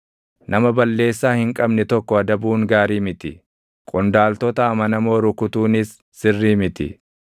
Nama balleessaa hin qabne tokko adabuun gaarii miti; qondaaltota amanamoo rukutuunis sirrii miti.